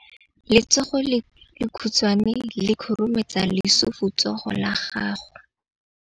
Letsogo le lekhutshwane le khurumetsa lesufutsogo la gago.